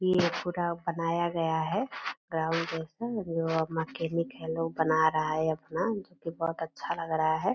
ये पूरा बनाया गया है ग्राउंड जैसा जो मैकेनिक है लोग बना रहा है अपना जो कि बहुत अच्छा लग रहा है।